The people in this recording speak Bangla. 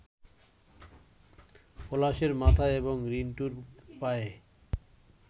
পলাশের মাথায় এবং রিন্টুর পায়ে